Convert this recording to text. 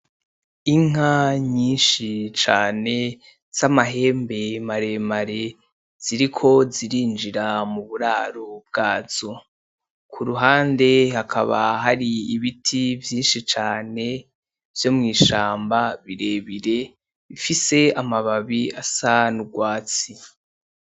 Inka nyinshi cane zamahembe maremare ziriko zirinjira mu buraro bgazo. Kuruhande hakaba hari ibiti vyinshi cane vyo mwishamba birebire bifise amababi asa nugwatsi.